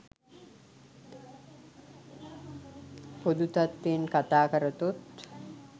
පොදු තත්ත්වයෙන් කතා කරතොත්